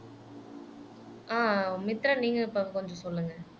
அஹ் மித்ரன் நீங்க கொஞ்சம் சொல்லுங்க